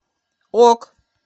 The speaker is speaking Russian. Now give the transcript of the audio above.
ок